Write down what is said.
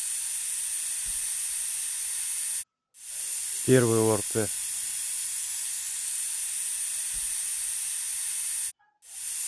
первый орт